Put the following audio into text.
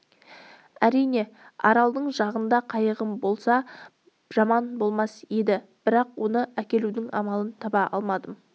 әрине аралдың арғы жағында қайығым болса жаман болмас еді бірақ оны әкелудің амалын таба алмадым